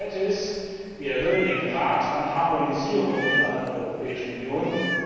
Zweitens Wir erhöhen den Grad an Harmonisierung innerhalb der Europäischen Union.